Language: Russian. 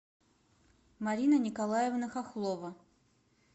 марина николаевна хохлова